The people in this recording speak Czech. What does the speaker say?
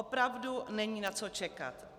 Opravdu není na co čekat.